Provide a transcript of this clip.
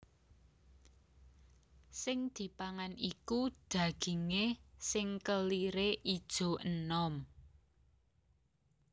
Sing dipangan iku dagingé sing keliré ijo enom